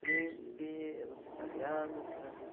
Príncipe, os italianos, franceses.